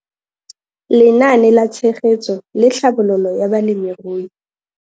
Lenaane la Tshegetso le Tlhabololo ya Balemirui.